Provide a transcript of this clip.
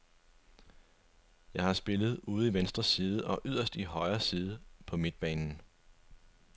Jeg har spillet ude i venstre side og yderst i højre side på midtbanen.